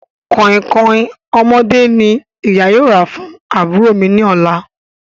Kọ̀ìnkọ̀ìn ọmọdé ní ìyá yóò rà fún àbúrò mi ní ọ̀la